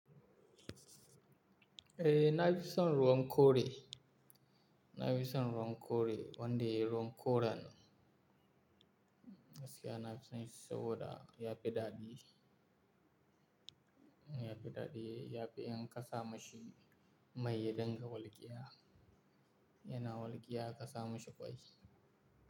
Eh na fi son ruwan kore. Na fi son ruwan kore wanda ruwan kora ne. Gaskiya nafi son shi saboda ya fi daɗi. Ya fi daɗi, ya fi in ƙasa mashi mai ya dinga walƙiya. Yana walƙiya a ƙasa mashi ƙwai.